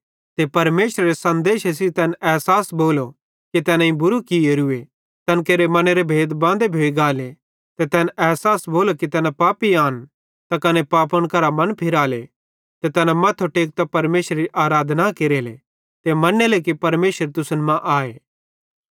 ते परमेशरेरे सन्देशे सेइं तैन एसास भोलो कि तैनेईं बुरू कियोरू तैन केरे मनेरे भेद बांदो भोइ गाले ते तैन एसास भोलो कि तैना पापी आन त कने पापन करां मन फिराले ते तैना मथ्थो टेकतां परमेशरेरी आराधना केरेले ते मनेले कि परमेशर तुसन मां आए